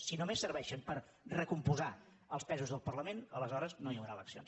si només serveixen per recompondre els pesos del parla·ment aleshores no hi haurà eleccions